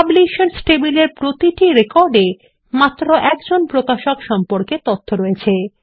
পাবলিশার্সস টেবিলের প্রতিটি রেকর্ড এ মাত্র একজন প্রকাশক সম্পর্কে তথ্য রয়েছে